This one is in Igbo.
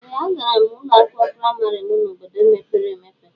Ee a gara m ụlọ akwụkwọ praịmarị m n'obodo mepere emepe.